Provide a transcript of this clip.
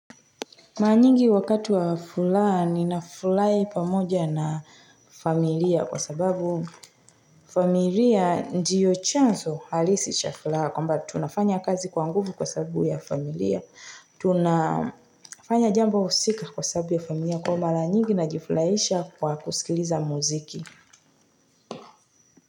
Mara nyingi wakati wa furaha ninafurahi pamoja na familia kwa sababu familia ndiyo chanzo halisi cha furaha kwamba tunafanya kazi kwa nguvu kwa sababu ya familia. Tunafanya jambo husika kwa sababu ya familia kwa hiyo mara nyingi najifurahisha kwa kusikiliza muziki.